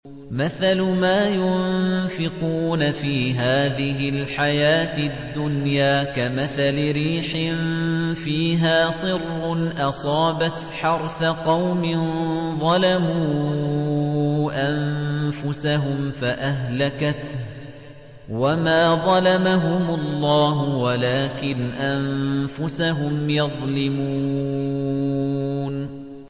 مَثَلُ مَا يُنفِقُونَ فِي هَٰذِهِ الْحَيَاةِ الدُّنْيَا كَمَثَلِ رِيحٍ فِيهَا صِرٌّ أَصَابَتْ حَرْثَ قَوْمٍ ظَلَمُوا أَنفُسَهُمْ فَأَهْلَكَتْهُ ۚ وَمَا ظَلَمَهُمُ اللَّهُ وَلَٰكِنْ أَنفُسَهُمْ يَظْلِمُونَ